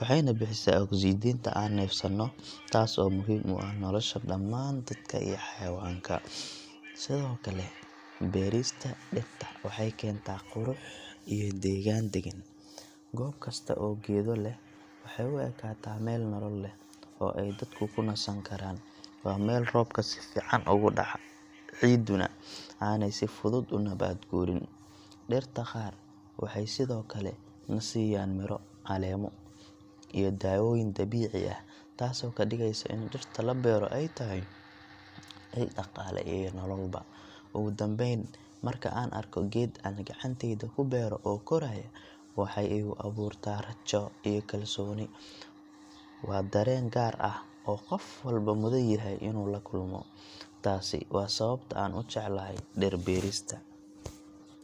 waxayna bixisaa oksijiinta aan neefsano, taas oo muhiim u ah nolosha dhammaan dadka iyo xayawaanka. Sidoo kale, beerista dhirta waxay keentaa qurux iyo degaan deggan. Goob kasta oo geedo leh waxay u ekaataa meel nolol leh, oo ay dadku ku nasan karaan. Waa meel roobka si fiican uga dhaca, ciiduna aanay si fudud u nabaad guurin. Dhirta qaar waxay sidoo kale na siiyaan miro, caleemo, iyo daawooyin dabiici ah, taasoo ka dhigaysa in dhirta la beero ay tahay il dhaqaale iyo nololba. Ugu dambayn, marka aan arko geed aan gacantayda ku beero oo koraaya, waxay igu abuurtaa rajo iyo kalsooni. Waa dareen gaar ah oo qof walba mudan yahay inuu la kulmo. Taasi waa sababta aan u jeclahay dhir beerista.